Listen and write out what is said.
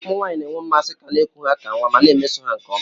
Ụmụ nwanyị na-enwe mmasị ka a na-eku ha ka nwa ma na-emeso ha nke ọma